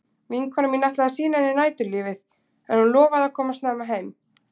Vinkonan ætlaði að sýna henni næturlífið en hún lofaði að koma snemma heim.